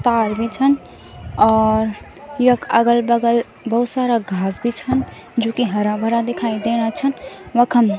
कार भी छन और यख अगल-बगल भोत सारा घास भी छन जू की हरा-भरा दिखाई देना छन वखम।